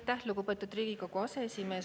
Aitäh, lugupeetud Riigikogu aseesimees!